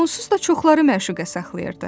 Onsuz da çoxları məşuqə saxlayırdı.